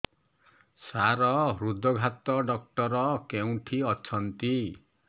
ସାର ହୃଦଘାତ ଡକ୍ଟର କେଉଁଠି ଅଛନ୍ତି